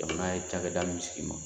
Jamana ye cakɛda min sigi.